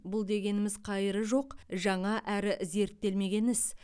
бұл дегеніміз қайыры жоқ жаңа әрі зерттелмеген іс